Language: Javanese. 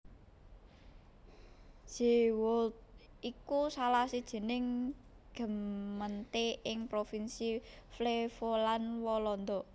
Zeewolde iku salah sijining gemeente ing provinsi Flevoland Walanda